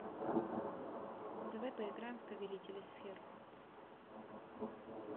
давай поиграем в повелители сфер